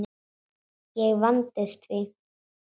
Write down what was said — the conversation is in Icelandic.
Og ég vandist því.